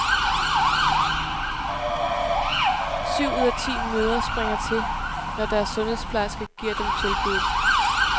Syv ud af ti mødre springer til, når deres sundhedsplejerske giver dem tilbuddet.